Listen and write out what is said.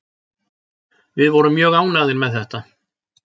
Við vorum mjög ánægðir með þetta